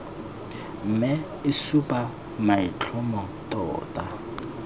mme e supa maitlhomo tota